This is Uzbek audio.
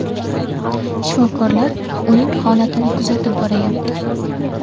Shifokorlar uning holatini kuzatib boryapti.